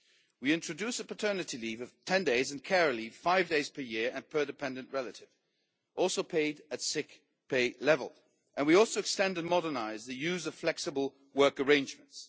We introduce a paternity leave of 10 days and care leave of five days per year and per dependent relative, also paid at sick pay level, and we also extend and modernise the use of flexible work arrangements.